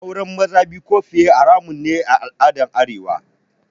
Auren maza biyu ko fiye haramun ne a al'adar arewa